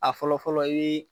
A fɔlɔ fɔlɔ , i bi